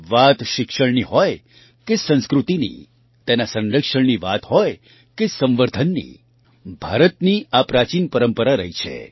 વાત શિક્ષણની હોય કે સંસ્કૃતિની તેના સંરક્ષણની વાત હોય કે સંવર્ધનની ભારતની આ પ્રાચીન પરંપરા રહી છે